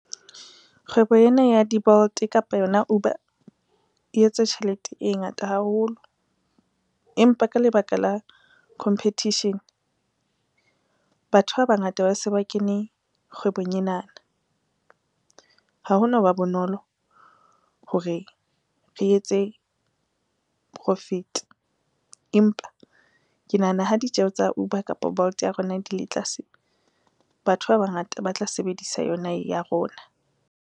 Kgwebo ena ya di-Bolt kapa yona Uber e etse tjhelete e ngata haholo. Empa ka lebaka la competition, batho ba bangata ba se ba kene kgwebong enana, ha ho no ba bonolo hore re etse profit, empa ke nahana ha ditjeho tsa Uber kapa Bolt ya rona di le tlase, batho ba bangata ba tla sebedisa yona ye ya rona.